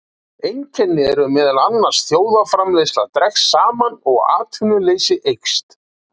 Einkennin eru meðal annars að þjóðarframleiðsla dregst saman og atvinnuleysi eykst.